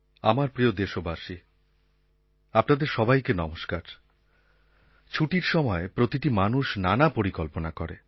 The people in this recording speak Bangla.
আমার প্রিয় দেশবাসী আপনাদের সবাইকে নমস্কার ছুটির সময় প্রতিটি মানুষ নানা পরিকল্পনা করে